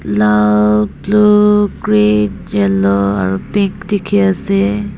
lal blue green yellow aro pink dikhiase.